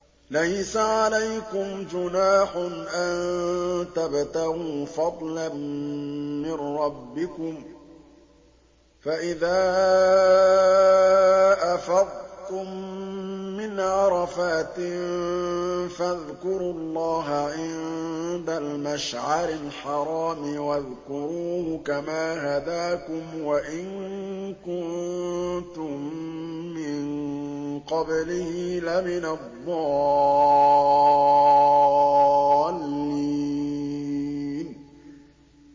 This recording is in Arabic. لَيْسَ عَلَيْكُمْ جُنَاحٌ أَن تَبْتَغُوا فَضْلًا مِّن رَّبِّكُمْ ۚ فَإِذَا أَفَضْتُم مِّنْ عَرَفَاتٍ فَاذْكُرُوا اللَّهَ عِندَ الْمَشْعَرِ الْحَرَامِ ۖ وَاذْكُرُوهُ كَمَا هَدَاكُمْ وَإِن كُنتُم مِّن قَبْلِهِ لَمِنَ الضَّالِّينَ